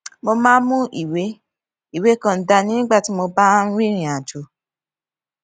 mo máa ń mú ìwé ìwé kan dání nígbà tí mo bá ń rìnrìn àjò